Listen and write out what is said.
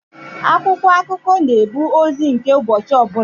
Akwụkwọ akụkọ na-ebu ozi nke ụbọchị ọbụla.